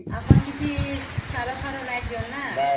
ଆପଣ କିଛି ସାର ଫାର ନାଇଁ ଦିଆନ ନ